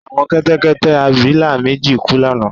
Àwọn kẹ́tẹ́kẹ́tẹ́-abilà méjì kú lánàá